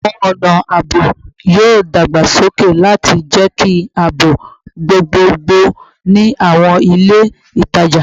Awọn ọna aabo yoo dagbasoke lati jẹki aabo gbogbogbo ni awọn ile itaja